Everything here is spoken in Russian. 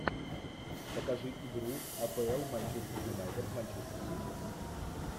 покажи игру апл манчестер юнайтед манчестер сити